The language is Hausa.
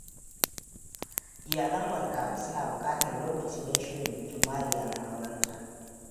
Iyalan Marka suna bukatar lokaci don shirin bikin Mariya na aurenta.